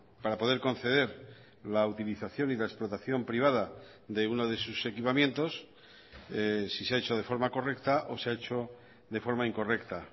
para poder conceder la utilización y la explotación privada de uno de sus equipamientos si se ha hecho de forma correcta o se ha hecho de forma incorrecta